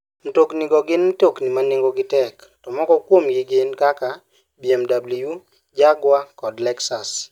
Mtoknigo gin mtokni ma nengogi tek, to moko kuomgi gin kaka BMW, Jaguar, kod Lexus.